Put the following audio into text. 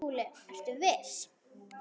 SKÚLI: Ertu viss?